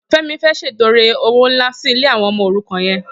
Femi fê ṣétọrẹ ówó nlá si ilé awọn ọmọ órúkàn yèn